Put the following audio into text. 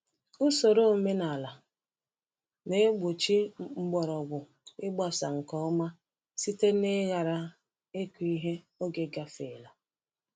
Usoro omenala na-egbochi mgbọrọgwụ ịgbasa nke ọma site n’ịghara ịkụ ihe oge gafeela.